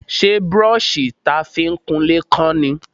Ṣé brọ́ṣì ta fi ń kunlé kán ni?